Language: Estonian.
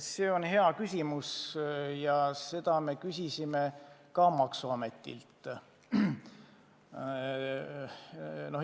See on hea küsimus ja seda me küsisime ka maksuametilt.